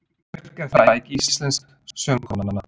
Björk er fræg íslensk söngkona.